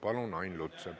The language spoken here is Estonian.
Palun, Ain Lutsepp!